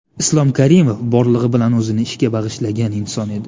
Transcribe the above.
Islom Karimov borlig‘i bilan o‘zini ishga bag‘ishlagan inson edi.